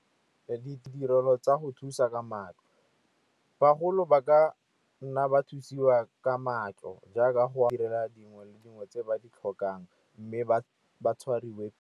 Ditirelo tsa go thusa ka matlo, bagolo ba ka nna ba thusiwa ka matlo jaaka go direla dingwe le dingwe tse ba di tlhokang mme ba tshwariwe.